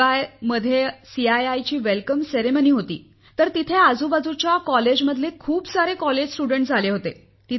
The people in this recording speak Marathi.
शिवाय मध्ये सीआयआयचा स्वागत समारंभ होता तर तेथे आजूबाजूच्या महाविद्यालयांतील खूप सारे विद्यार्थी आले होते